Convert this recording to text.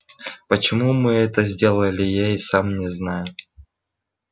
почему мы это сделали я и сам не знаю